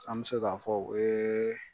An bɛ se k'a fɔ o ye